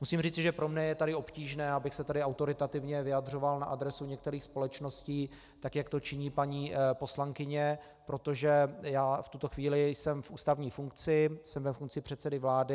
Musím říci, že pro mě je tady obtížné, abych se tady autoritativně vyjadřoval na adresu některých společností, tak jak to činí paní poslankyně, protože já v tuto chvíli jsem v ústavní funkci, jsem ve funkci předsedy vlády.